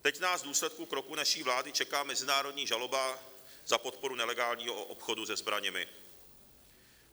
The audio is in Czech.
Teď nás v důsledku kroku naší vlády čeká mezinárodní žaloba za podporu nelegálního obchodu se zbraněmi.